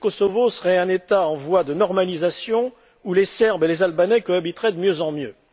Le Kosovo serait un État en voie de normalisation, où les Serbes et les Albanais cohabiteraient de mieux en mieux.